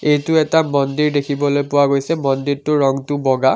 এইটো এটা মন্দিৰ দেখিবলৈ পোৱা গৈছে মন্দিৰটোৰ ৰং হৈছে বগা।